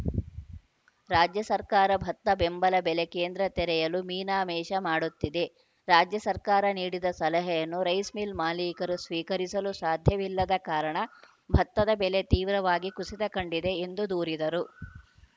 ರಾಜ್ಯ ಸರ್ಕಾರ ಭತ್ತ ಬೆಂಬಲ ಬೆಲೆ ಕೇಂದ್ರ ತೆರೆಯಲು ಮೀನಾ ಮೀಷ ಮಾಡುತ್ತಿದೆ ರಾಜ್ಯ ಸರ್ಕಾರ ನೀಡಿದ ಸಲಹೆಯನ್ನು ರೈಸ್‌ ಮಿಲ್‌ ಮಾಲೀಕರು ಸ್ವೀಕರಿಸಲು ಸಾಧ್ಯವಿಲ್ಲದ ಕಾರಣ ಭತ್ತದ ಬೆಲೆ ತೀವ್ರವಾಗಿ ಕುಸಿತ ಕಂಡಿದೆ ಎಂದು ದೂರಿದರು